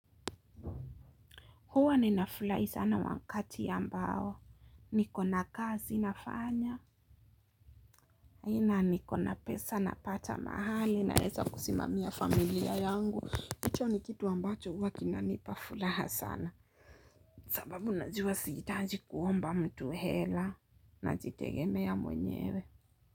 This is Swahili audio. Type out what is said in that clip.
Huwa ninafurahi sana wakati ambao. Nikona kazi nafanya. Nikona pesa napata mahali naeza kusimamia familia yangu. Hicho ni kitu ambacho huwa kinanipa furaha sana. Sababu najua sihitaji kuomba mtu hela. Najitegemea mwenyewe.